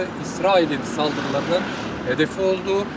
İsrailin saldırılarının hədəfi oldu.